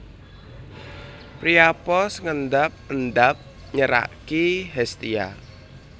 Priapos ngendap endap nyeraki Hestia